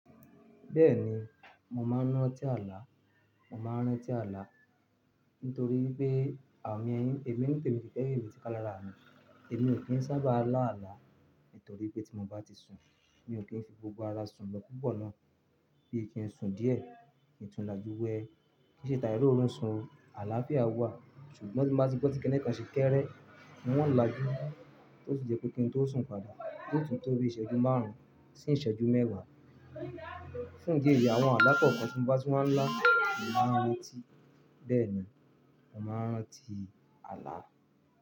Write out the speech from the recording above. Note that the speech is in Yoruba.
Bẹ́ẹ̀ni, mo máa ń rántí ààlà, mo máa ń rántí ààlà nítorí pé àwọn èèyàn, èmi nítemi mi kì í fẹ́ èyí tí kán lára mì. Èmi ò kí ń sábà lá àlà nítorí pé tí mo bá ti sun, mi ò kí ń fi gbogbo ara sun lo pupo náà. Bí i kí n sun díẹ̀, kí n tún lajú wẹ, kí n ṣètàrí orun sun àlàáfíà wà ṣùgbọ́n tí mo bá ti gbọ́ ti kẹ́ni kan ṣe kẹ́rẹ́, wọn ń lajú, tó sì jẹ kó kí ń tó sun padà, tó tún tó rí ìṣẹ́jú márùn-ún sí ìṣẹ́jú mẹ́wàá. Fún ìdí èyí àwọn alá kan tí mo bá tun máa ń lá, mo máa ń rántí. Bẹ́ẹ̀ni, mo máa ń rántí àlà.